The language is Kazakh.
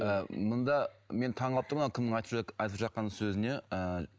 ііі мұнда мен таңғалып тұрмын ана кімнің айтып айтып жатқан сөзіне ыыы